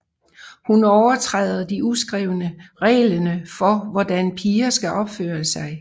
Hun overtræder de uskrevne reglene for hvordan piger skal opføre seg